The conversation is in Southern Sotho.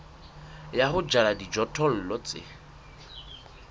ya ho jala dijothollo tse